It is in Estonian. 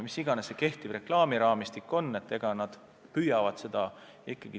Mis iganes see kehtiv reklaamiraamistik ka pole, seda tuleb ikkagi püüda täita.